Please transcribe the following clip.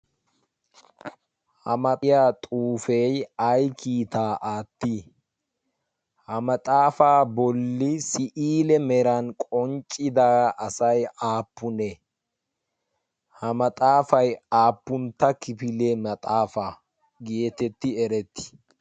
ha maxiya xuufe ay kiitta aatti? ha maxaafa boolli si'ile meran qonccida asay aappune? ha maxaafay aappuntta kifile maxaafa getetti eretti?